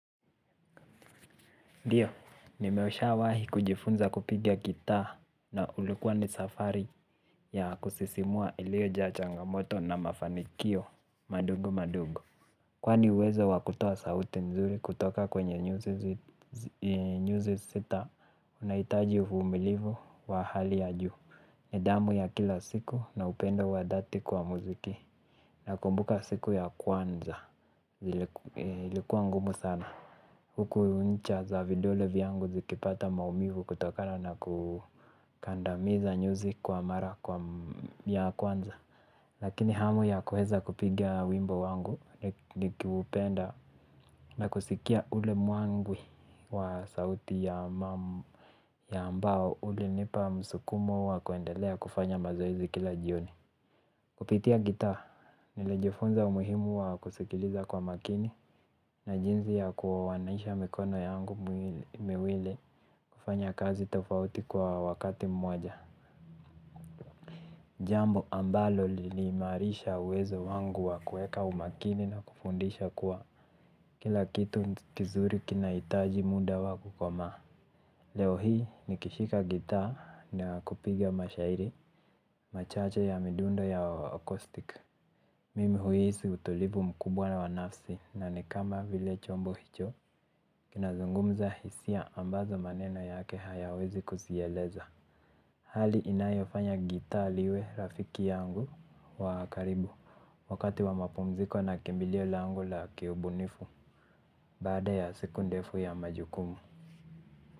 Ndiyo, nimeshawahi kujifunza kupiga gitaa na ulikuwa ni safari ya kusisimua iliojaa changamoto na mafanikio madogo madogo. Kwani uwezo wa kutoa sauti nzuri kutoka kwenye nyuzi sita, unahitaji uvumilivu wa hali ya juu. Nidhamu ya kila siku na upendo wa dhati kwa muziki. Nakumbuka siku ya kwanza. Ilikuwa ngumu sana. Huku ncha za vidole vyangu zikipata maumivu kutokana na kukandamiza nyuzi kwa mara kwa ya kwanza lakini hamu ya kueza kupiga wimbo wangu ni kupenda na kusikia ule magwi wa sauti ya mbao ulinipa msukumo wa kuendelea kufanya mazoezi kila jioni. Kupitia gitaa nilijifunza umuhimu wa kusikiliza kwa makini na jinsi ya kuanaisha mikono yangu miwili kufanya kazi tofauti kwa wakati mmoja. Jambo ambalo liliniimarisha uwezo wangu wa kueka umakini na kufundisha kwa kila kitu kizuri kinahitaji muda wa kukomaa. Leo hii nikishika gitaa na kupiga mashairi machache ya midundo ya accoustic. Mimi huhisi utulivu mkubwa wa nafsi na ni kama vile chombo hicho kinazungumza hisia ambazo maneno yake hayawezi kuzieleza. Hali inayofanya gitaa liwe rafiki yangu wa karibu wakati wa mapumziko na kimbilio langu la kiubunifu baada ya siku ndefu ya majukumu.